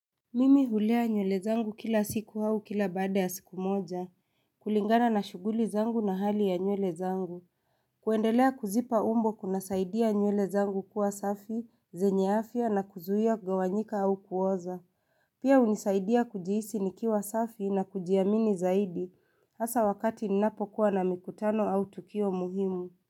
Mimi hulea nywele zangu kila siku au kila baada ya siku moja. Kulingana na shuguli zangu na hali ya nyule zangu. Kuendelea kuzipa umbo kunasaidia nywele zangu kuwa safi, zenye afya na kuzuia kugawanyika au kuoza. Pia hunisaidia kujihisi nikiwa safi na kujiamini zaidi hasa wakati ninapokuwa na mikutano au tukio muhimu.